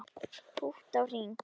Pútt á hring